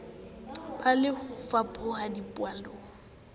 be le ho fapoha dipallong